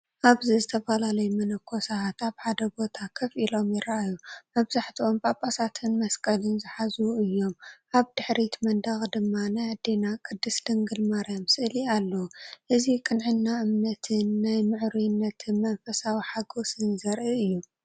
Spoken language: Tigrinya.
ኣብዚ ዝተፈላለዩ መነኮሳትን መነኮሳትን ኣብ ሓደ ቦታ ኮፍ ኢሎም ይረኣዩ። መብዛሕትኦም ጵጳሳትን መስቀልን ዝሓዙን እዮም። ኣብ ድሕሪት መንደቕ ድማ ናይ ኣዴና ቅድስት ድንግል ማርያም ስእሊ ኣሎ። እዚ ቅንዕና እምነትን ናይ ምዕሩይነት መንፈሳዊ ሓጐስን ዘርኢ እዩ።